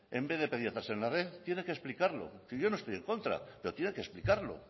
en vez de pediatras en la red tiene que explicarlo yo no estoy en contra pero tiene que explicarlo